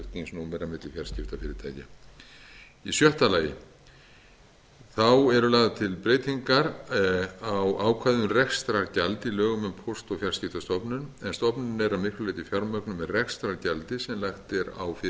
flutningsnúmera milli fjarskiptafyrirtækja í sjötta lagi eru lagðar til breytingar á ákvæði um rekstrargjald í lögum um póst og fjarskiptastofnun en stofnunin er að miklu leyti fjármögnuð með rekstrargjald sem lagt er